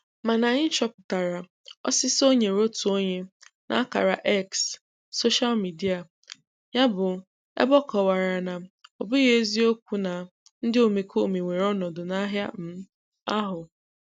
Mana anyị chọpụtara ọsịsa o nyere otu onye n'akara X soshal mịdịa ya bụ ebe ọ kọwara na "ọ bụghị eziokwu na ndị omekome were ọnọdụ n'ahịa um ahụ".